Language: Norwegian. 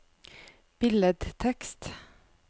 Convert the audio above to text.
billedtekst